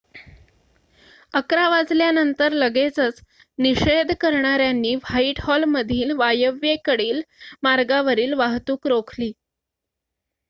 11:00 वाजल्यानंतर लगेचच निषेध करणाऱ्यांनी व्हाईटहॉलमधील वायव्येकडील मार्गावरील वाहतूक रोखली